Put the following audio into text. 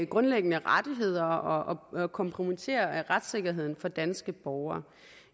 grundlæggende rettigheder og kompromitterer retssikkerheden for danske borgere